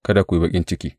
Kada ku yi baƙin ciki.